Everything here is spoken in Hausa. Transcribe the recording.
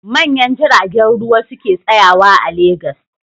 Manyan jiragen ruwa su ke tsayawa a Legas.